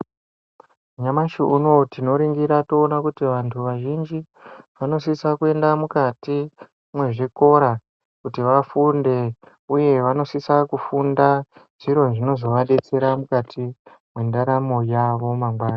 Nyamashi unowu tinoringira toona kuti vantu vazhinji vanosisa kuenda mukati mwezvikora kuti vafunde, uye vanosisa kufunda zviro zvinozovadetsera mukati mwendaramo yavo mangwani.